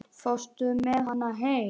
Fórstu með hana heim?